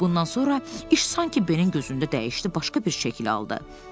Bundan sonra iş sanki Benin gözündə dəyişdi, başqa bir şəkil aldı.